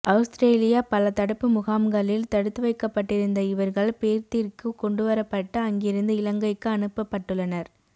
அவுஸ்திரேலிய பல தடுப்பு முகாம்களில் தடுத்து வைக்கப்பட்டிருந்த இவர்கள் பேர்த்திற்கு கொண்டுவரப்பட்டு அங்கிருந்து இலங்கைக்கு அனுப்பபட்டுள்ளனர்